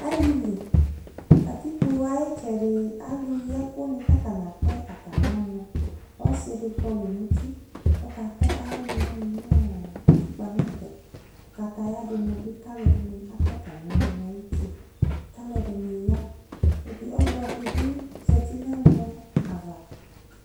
Alili katikpo ayitsɛdi alu yi ɛkʋ ni katani atɛ atami ɔnuƆsidi kɔlu nuti , kɔkatɛ ayɔnu wani nʋ ɔɔɔ utikpa nɛfɛKʋ kataya dini bi kalu ɛdini atɛ atami ɔnu nayuti Kalu ɛdini ya Ɛdi, ɔluɛdini zati nɛmɔ'ava